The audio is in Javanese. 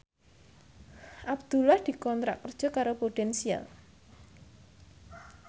Abdullah dikontrak kerja karo Prudential